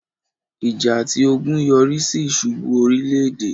ìjà àti ogun yọrísí ìsubú orílẹ̀-èdè